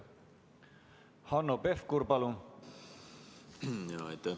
Hanno Pevkur, palun!